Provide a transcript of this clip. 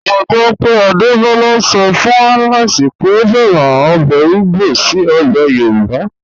Mo gbọ pé Adebola sọ fun Alex pé o fẹ́ràn obè igbo sí obè Yorùbá.